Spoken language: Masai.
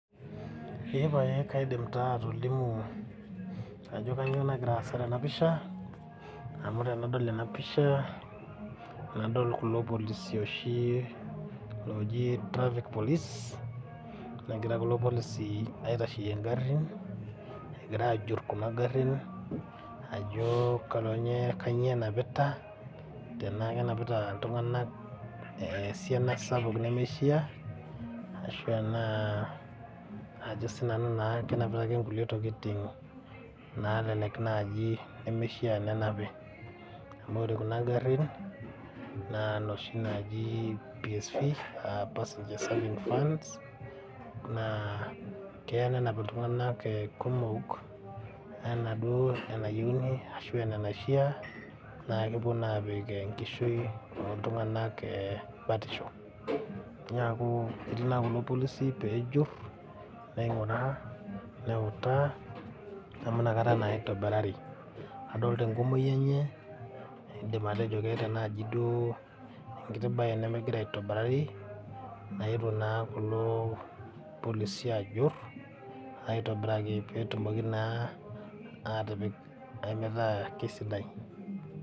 Kaidim atolimu ajo kanyoo nagira aasa tena pisha amu adolita ilpolisi oogira aitasheyie ingharhin egira ajur ajo kanyoo enapiata enaki enapita iltunganak esiana sapuk neishia ashu enaa tenenapita intokiting neishia nenapi amu ore kuna arhin naa psv naa keya nenap Iltunganak kumok nemeishia nepik engishui ooltunganak batishu neaku etii naa kulo polisi peejur ninguraa neutaa amu inakata naa eitobirari